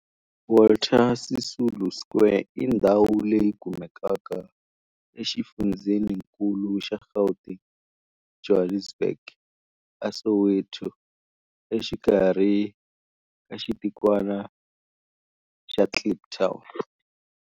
Walter Sisulu Square i ndhawu leyi kumekaka exifundzheninkulu xa Gauteng, Johannesburg, a Soweto, exikarhi ka xitikwana xa Kliptown.